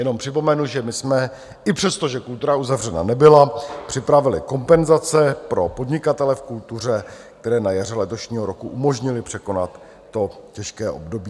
Jenom připomenu, že my jsme i přesto, že kultura uzavřena nebyla, připravili kompenzace pro podnikatele v kultuře, které na jaře letošního roku umožnily překonat to těžké období.